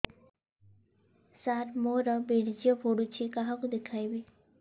ସାର ମୋର ବୀର୍ଯ୍ୟ ପଢ଼ୁଛି କାହାକୁ ଦେଖେଇବି